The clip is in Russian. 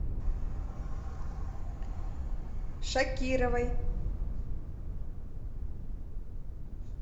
шакировой